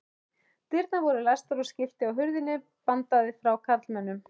Dyrnar voru læstar og skilti á hurðinni bandaði frá karlmönnum.